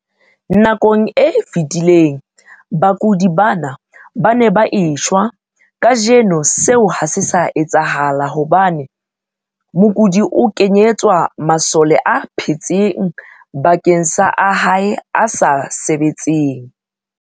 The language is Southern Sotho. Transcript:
Nakong e fetileng, bakudi bana ba ne ba e shwa. Kajeno seo ha se sa etsahala hobane mokudi o kenyetswa masole a phetseng bakeng sa a hae a sa sebetseng.